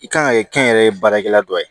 I kan ka kɛ kɛnyɛrɛye baarakɛla dɔ ye